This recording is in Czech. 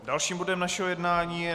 Dalším bodem našeho jednání je